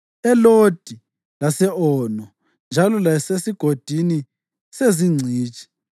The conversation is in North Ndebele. eLodi lase-Ono, njalo laseSigodini seZingcitshi.